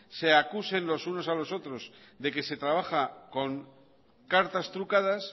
se acusen los unos a los otros de que se trabaja con cartas trucadas